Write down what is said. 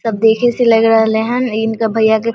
सब देखे से लग रहले हेन इनका भईया